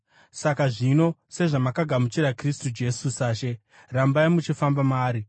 Saka zvino, sezvamakagamuchira Kristu Jesu saShe, rambai muchifamba maari,